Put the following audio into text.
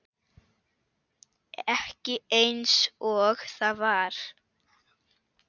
Ekki einsog það var.